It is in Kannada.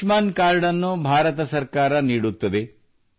ಆಯುಷ್ಮಾನ್ ಕಾರ್ಡ್ ನ್ನು ಭಾರತ ಸರ್ಕಾರ ನೀಡುತ್ತದೆ